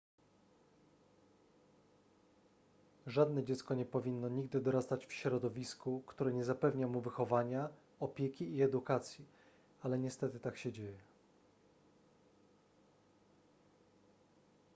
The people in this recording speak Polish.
żadne dziecko nie powinno nigdy dorastać w środowisku które nie zapewnia mu wychowania opieki i edukacji ale niestety tak się dzieje